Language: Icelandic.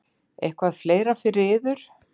Eitthvað fleira fyrir yður?